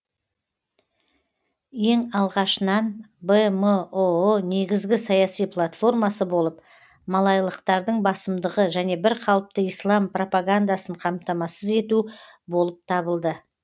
ең алғашынан бмұұ негізгі саяси платформасы болып малайлықтардың басымдығы және бір қалыпты ислам пропагандасын қамтамасыз ету болып табылды